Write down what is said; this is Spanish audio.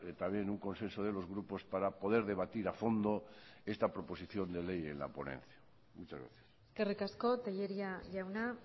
también un consenso de los grupos para poder debatir a fondo esta proposición de ley en la ponencia muchas gracias eskerrik asko telleria jauna